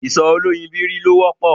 Ìṣó oloyìibírí ló wọ́pọ̀